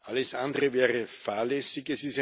Alles andere wäre fahrlässig.